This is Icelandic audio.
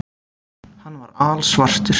Hann var alsvartur.